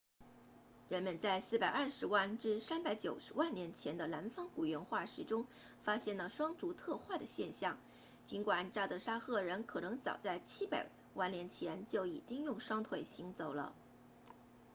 人们在420万至390万年前的南方古猿化石中发现了双足特化的现象尽管乍得沙赫人 sahelanthropus 可能早在700万年前就已经用双腿行走了